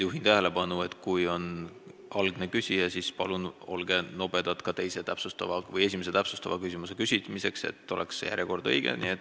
Juhin tähelepanu, et põhiküsimuse küsija peaks oma lisaküsimuse esitamise nobedalt registreerima, siis saab järjekord õige.